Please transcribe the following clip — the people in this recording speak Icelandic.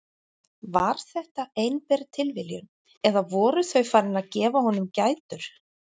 Var þetta einber tilviljun eða voru þau farin að gefa honum gætur?